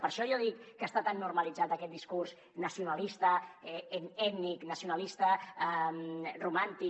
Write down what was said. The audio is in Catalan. per això jo dic que està tan normalitzat aquest discurs nacionalista ètnic nacionalista romàntic